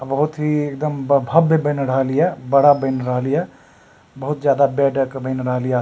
बहुत ही एकदम भव्य बएन रहल ये बड़ा बएन रहल ये बहुत ज्यादा बेडक बेएन रहल ये --